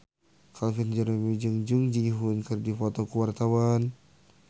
Calvin Jeremy jeung Jung Ji Hoon keur dipoto ku wartawan